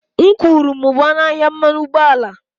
M kwuru, mụbaa ọnụ ahịa mmanụ ụgbọala